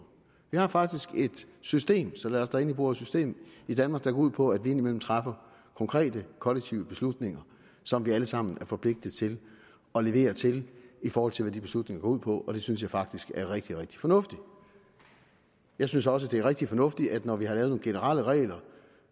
vi har faktisk et system så lad os da endelig bruge ordet system i danmark der går ud på at vi indimellem træffer konkrete kollektive beslutninger som vi alle sammen er forpligtet til at levere til i forhold til hvad de beslutninger går ud på og det synes jeg faktisk er rigtig rigtig fornuftigt jeg synes også at det er rigtig fornuftigt at når vi har lavet nogle generelle regler